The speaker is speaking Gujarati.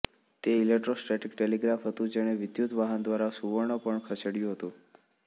તે ઇલેકટ્રોસ્ટેટિક ટેલિગ્રાફ હતું જેણે વિદ્યુત વહન દ્વારા સુવર્ણ પર્ણ ખસેડ્યું હતું